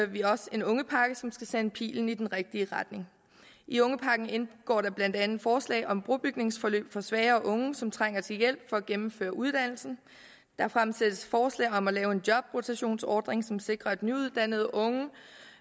vi også en ungepakke som skal sende pilen i den rigtige retning i ungepakken indgår der blandt andet forslag om brobygningsforløb for svagere unge som trænger til hjælp for at gennemføre uddannelsen der fremsættes forslag om at lave en jobrotationsordning som sikrer at nyuddannede unge